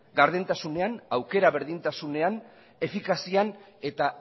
gardentasunean aukera berdintasunean efikazian eta